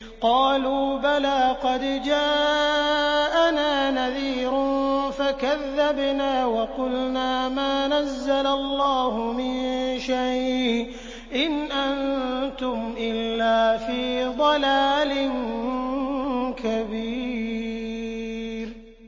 قَالُوا بَلَىٰ قَدْ جَاءَنَا نَذِيرٌ فَكَذَّبْنَا وَقُلْنَا مَا نَزَّلَ اللَّهُ مِن شَيْءٍ إِنْ أَنتُمْ إِلَّا فِي ضَلَالٍ كَبِيرٍ